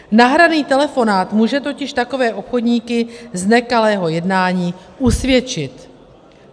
Nahraný telefonát může totiž takové obchodníky z nekalého jednání usvědčit.